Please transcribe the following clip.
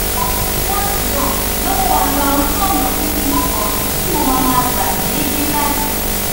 ọnà tí wọn tì náà ló mú wa gba ojúònà kúkúrú kan tí mo máa ma gba déédéé báyìí